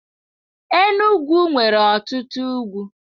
Enugwu nwere ọtụtụ ugwu.